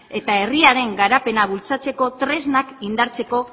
eta herriaren garapenak bultzatzeko tresnak indartzeko